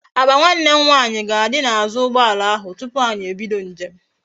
Akpa nwanne nwanyi ga adi na azu ugboala ahu tupu anyi ebido njem